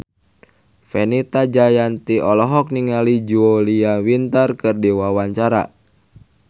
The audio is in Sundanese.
Fenita Jayanti olohok ningali Julia Winter keur diwawancara